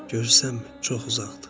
Görürsənmi, çox uzaqdır.